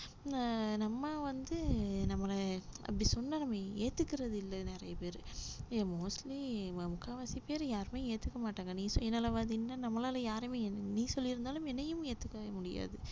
அஹ் நம்ம வந்து நம்மள அப்படி சொன்னா நம்ம ஏத்துக்கிறது இல்ல நிறைய பேரு ஏன் mostly முக்காவாசி பேரு யாருமே ஏத்துக்க மாட்டாங்க நீ சுயநலவாதின்னா நம்மளால யாருமே நீ சொல்லியிருந்தாலும் என்னையும் ஏத்துக்கவே முடியாது